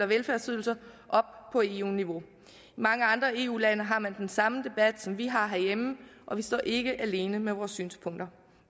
velfærdsydelser op på eu niveau i mange andre eu lande har man den samme debat som vi har herhjemme og vi står ikke alene med vores synspunkter